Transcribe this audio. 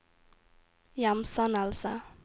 hjemsendelse